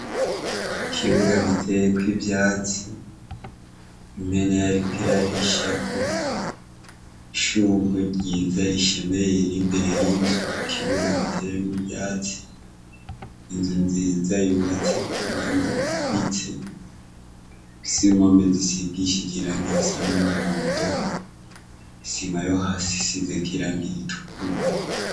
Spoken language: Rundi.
Ikibuga giteyeko ivyatsi, impene yariko irarishako. Ishugwe ryiza rishemeye riri imbere y'inzu. Ikibuga giteyemwo ivyatsi. Inzu nziza yubatse ku buhinga buhanitse. Isimameza isigishije irangi ry'umuhondo, isima yo hasi isize irangi ritukura.